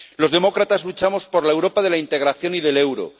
Los demócratas luchamos por la Europa de la integración y del euro